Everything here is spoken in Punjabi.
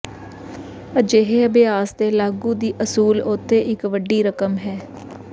ਅਜਿਹੇ ਅਭਿਆਸ ਦੇ ਲਾਗੂ ਦੀ ਅਸੂਲ ਉੱਥੇ ਇੱਕ ਵੱਡੀ ਰਕਮ ਹੈ